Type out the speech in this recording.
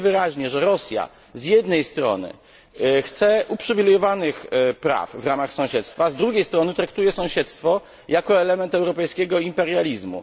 Widzimy wyraźnie, że Rosja z jednej strony chce uprzywilejowanych praw w ramach sąsiedztwa, z drugiej strony traktuje sąsiedztwo jako element europejskiego imperializmu.